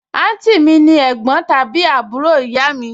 àǹtí mi ni ẹ̀gbọ́n tàbí àbúrò ìyá mi